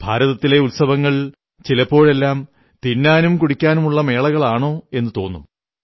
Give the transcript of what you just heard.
ഭാരതത്തിലെ ഉത്സവങ്ങൾ ചിലപ്പോഴെല്ലാം തിന്നാനും കുടിക്കാനുമുള്ള മേളകളാണോ എന്നു തോന്നും